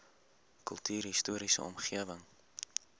kultuurhis toriese omgewing